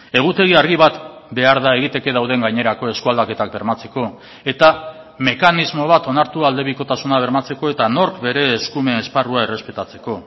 egutegi argi bat behar da egiteke dauden gainerako eskualdaketak bermatzeko eta mekanismo bat onartu aldebikotasuna bermatzeko eta nork bere eskumen esparrua errespetatzeko